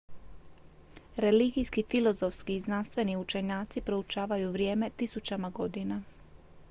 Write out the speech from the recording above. religijski filozofski i znanstveni učenjaci proučavaju vrijeme tisućama godina